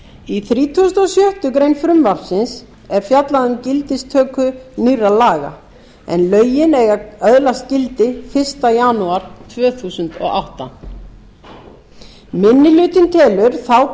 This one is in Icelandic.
í þrítugasta og sjöttu greinar frumvarpsins er fjallað um gildistöku nýrra laga en lögin eiga að öðlast gildi fyrsta janúar tvö þúsund og átta minni hlutinn